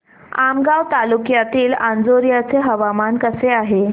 आमगाव तालुक्यातील अंजोर्याचे हवामान कसे आहे